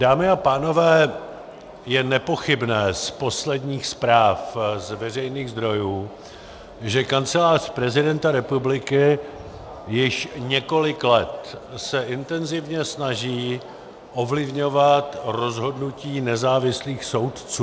Dámy a pánové, je nepochybné z posledních zpráv z veřejných zdrojů, že Kancelář prezidenta republiky již několik let se intenzivně snaží ovlivňovat rozhodnutí nezávislých soudců.